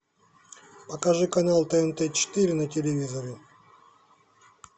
покажи канал тнт четыре на телевизоре